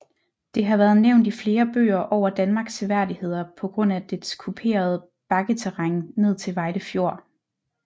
Det har været nævnt i flere bøger over Danmarks seværdigheder på grund af dets kuperede bakketerræn ned til Vejle Fjord